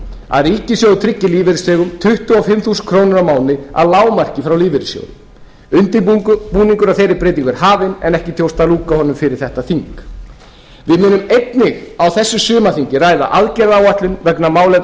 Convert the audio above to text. að ríkissjóður tryggi lífeyrisþegum tuttugu og fimm þúsund krónur á mánuði að lágmarki frá lífeyrissjóði undirbúningur að þeirri breytingu er hafinn en ekki tókst að ljúka honum fyrir þetta þing við munum einnig á þessu sumarþingi ræða aðgerðaáætlun vegna málefna